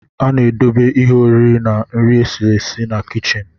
A na-edobe ihe oriri na nri esiri esi na kichin